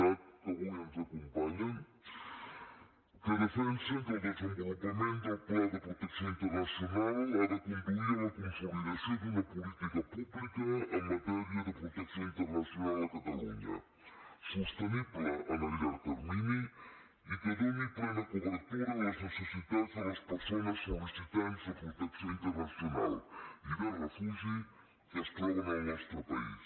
cat que avui ens acompanyen que defensen que el desenvolupament del pla de protecció internacional ha de conduir a la consolidació d’una política pública en matèria de protecció internacional a catalunya sostenible en el llarg termini i que doni plena cobertura a les necessitats de les persones sol·licitants de protecció internacional i de refugi que es troben al nostre país